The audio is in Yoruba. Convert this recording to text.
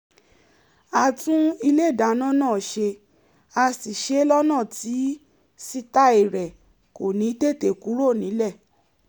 a tún ilé ìdáná náà ṣe a sì ṣe é lọ́nà tí sítàì rẹ̀ kò ní tètè kúrò nílẹ̀